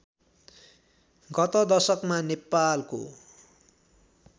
गत दशकमा नेपालको